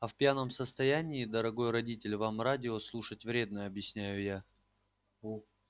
а в пьяном состоянии дорогой родитель вам радио слушать вредно объясняю я